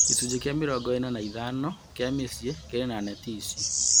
Gĩcunjĩ kĩa mĩrongo ĩna na ithano kĩa mĩciĩ kĩrĩ na neti ici